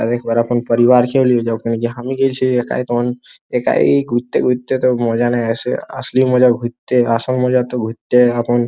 পরিবার একাই ঘুরতে ঘুরতে তো মজা নিয়ে আসে আসল মজা ঘুরতে আসল মজা তো ঘুরতে এখন--